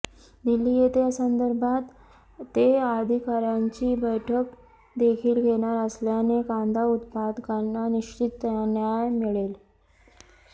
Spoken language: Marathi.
दिल्ली येथे या संदर्भात ते अधिकार्यांची बैठक देखील घेणार असल्याने कांदा उत्पादकांना निश्चित न्याय मिळेल